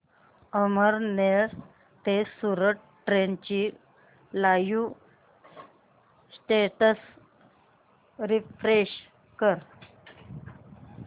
अमळनेर ते सूरत ट्रेन चे live status refresh कर